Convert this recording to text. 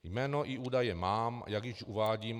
Jméno i údaje mám, jak již uvádím.